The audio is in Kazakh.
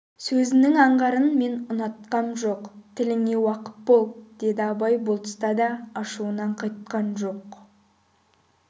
сөзіңнің аңғарын мен ұнатқам жоқ тіліңе уақып бол деді абай бұл тұста да ашуынан қайтқан жоқ